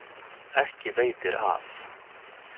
Ekki veitir af.